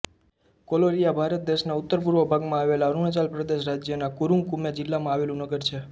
કોલોરિયાંગ ભારત દેશના ઉત્તરપૂર્વ ભાગમાં આવેલા અરુણાચલ પ્રદેશ રાજ્યના કુરુંગ કુમે જિલ્લામાં આવેલું નગર છે